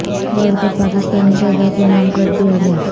world cup Pakistani شہدا کے نام کر دیا گیا